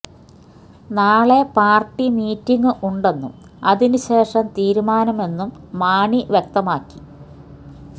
നാളെ party meeting ഉണ്ടെന്നും അതിന് ശേഷം തീരുമാനമെന്നും മാണി വ്യക്തമാക്കി